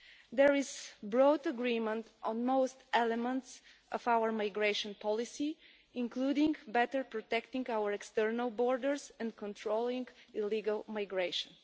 There is broad agreement on most elements of our migration policy, including better protecting our external borders and controlling illegal migration.